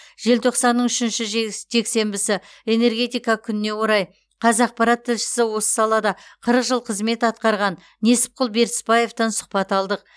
желтоқсанның үшінші жексе жексенбісі энергетика күніне орай қазақпарат тілшісі осы салада қырық жыл қызмет атқарған несіпқұл бертісбаевтан сұхбат алдық